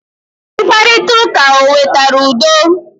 Mkparita ụka o wetara udo?